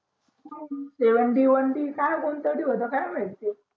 seven d one d काय कोणता तरी होता काय माहिती